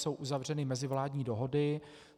Jsou uzavřeny mezivládní dohody.